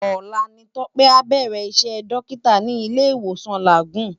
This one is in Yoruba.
Ólà ni Tope á bèrè Isè Dòkitá ni Ilé Iwósòn Lágùn